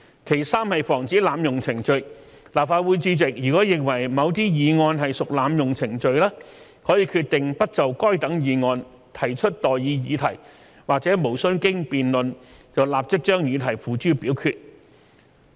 其三，防止濫用程序，立法會主席如認為某些議案屬濫用程序，可以決定不就該等議案提出待議議題或無須經辯論立即將議題付諸表決。